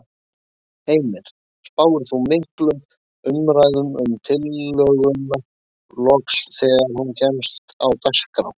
Heimir: Spáir þú miklum umræðum um tillöguna loks þegar hún kemst á dagskrá?